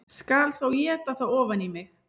Skal þá éta það ofan í mig